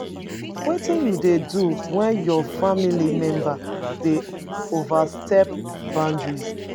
Wetin you dey do when your family member dey overstep boundary?